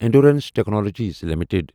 endurance Technologies limited